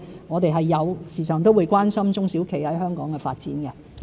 我們是時常關心中小企在香港的發展。